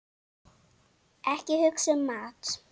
Ekki hugsa um mat!